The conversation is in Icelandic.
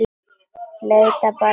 Leitaðu bara að honum.